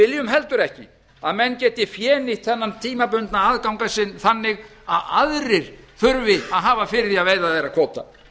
viljum heldur ekki að menn geti fénýtt þennan tímabundna aðgang sinn þannig að aðrir þurfi að hafa fyrir því að veiða þeirra kvóta